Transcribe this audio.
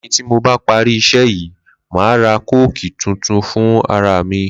Lé̩yìn tí mo bá parí isé̩ yìí, màá ra kóòkì tútù fún ara mi